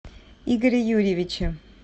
игоре юрьевиче